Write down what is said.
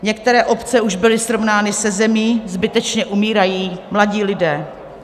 Některé obce už byly srovnány se zemí, zbytečně umírají mladí lidé.